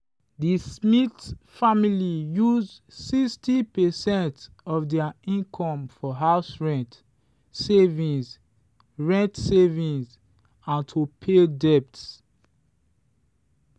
the smith family use 60 percent of their income for house rent savings rent savings and to pay debt.